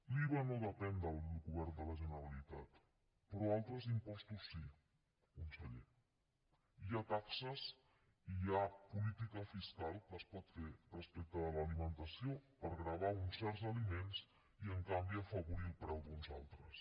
l’iva no depèn del govern de la generalitat però altres impostos sí conseller hi ha taxes i hi ha política fiscal que es pot fer respecte de l’alimentació per gravar uns certs aliments i en canvi afavorir el preu d’uns altres